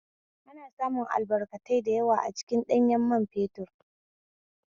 Ana samun albarkatai da yawa a cikin ɗanyan man fetur